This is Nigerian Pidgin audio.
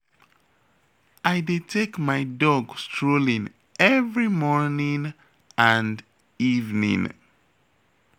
I dey take my dog strolling every morning and evening